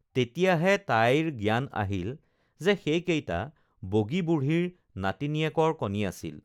তেতিয়াহে তাইৰ জ্ঞান আহিল যে সেইকেইটা বগী বুঢ়ীৰ নাতিনীয়েকৰ কণী আছিল